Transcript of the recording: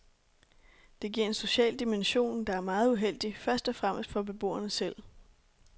Det giver en social dimension, der er meget uheldig, først og fremmest for beboerne selv.